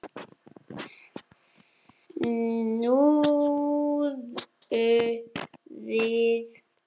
Snúðu við!